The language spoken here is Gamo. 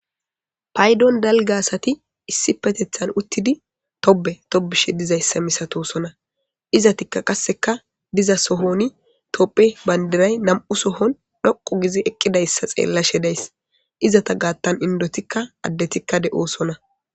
Paydon dalga gidiza asati issipetetan utidi tobe tobishe dizaysa misatosona izatika izati qaseka diza sohoni tophe bandiray nam'u sohon dhoqu gizi eqidaysa xelashe days izeta gatan indotika adetika de'osona.